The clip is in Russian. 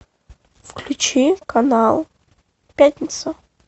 включи канал пятница